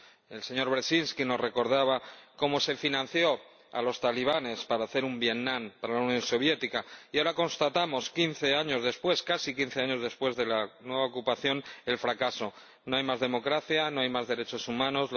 El señor Brzezinski nos recordaba cómo se financió a los talibanes para hacer un Vietnam para la Unión Soviética y ahora constatamos, quince años después ―casi quince años después― de la nueva ocupación, el fracaso no hay más democracia, no hay más derechos humanos